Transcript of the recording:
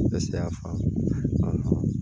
Ne se y'a faamu